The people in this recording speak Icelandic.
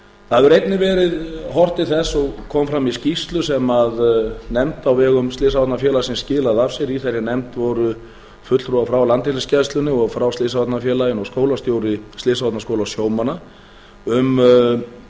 það hefur einnig verið horft til þess og kom fram í skýrslu sem nefnd á vegum slysavarnafélagsins skilaði af sér í þeirri nefnd voru fulltrúar frá landhelgisgæslunni og frá slysavarnafélaginu og skólastjóri slysavarnaskóla sjómanna um mikilvægi